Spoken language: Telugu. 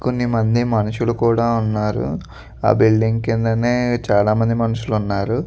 కొన్నిమంది మనుషులు కూడా ఉన్నారు ఆ బిల్డింగ్ కిందనే చాలా మంది మనుషులు ఉన్నారు.